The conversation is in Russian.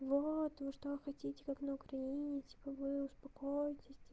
вот вы что хотите как на украине типо вы успокоитесь